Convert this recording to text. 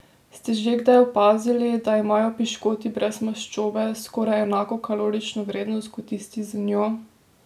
Ste že kdaj opazili, da imajo piškoti brez maščobe skoraj enako kalorično vrednost kot tisti z njo?